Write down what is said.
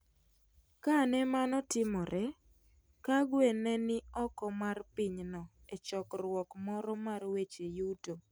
Kane mano timore, Kagwe ne ni oko mar pinyno e chokruok moro mar weche yuto.